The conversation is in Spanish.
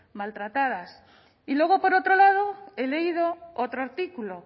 maltratadas y luego por otro lado he leído otro artículo